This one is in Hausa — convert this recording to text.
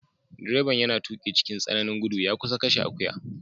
Direban yana tuki cikin tsananin gudu ya kusa kashe akuya.